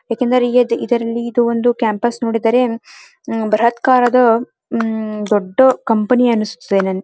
ಏಕೆಂದರೆ ಇದರಲ್ಲಿ ಇದುಒಂದು ಕ್ಯಾಂಪಸ್ ನೋಡಿದರೇ ಬ್ರಹತ್ ಕಾರದ ಒಂದು ದೊಡ್ಡಕಂಪನಿ ಅನಿಸುತ್ತದೆ ನನಗೆ --